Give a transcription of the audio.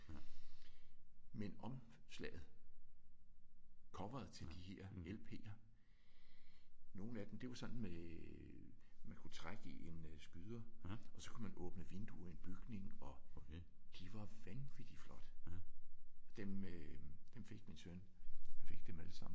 Men omslaget coveret til de her lp'er. Nogle af dem det var sådan med at man kunne trække i en øh skyder og så kunne man åbne vinduer i en bygning og de var vanvittigt flotte. Dem øh dem fik min søn. Han fik dem alle sammen fordi